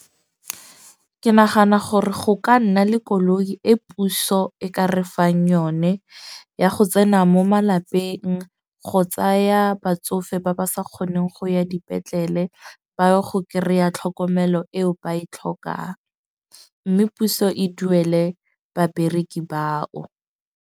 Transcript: Ke nagana gore go ka nna le koloi e puso e ka re fang yone ya go tsena mo malapeng, go tsaya batsofe ba ba sa kgoneng go ya dipetlele, ba ya go kry-a tlhokomelo eo ba e tlhokang. Mme puso e duele babereki bao.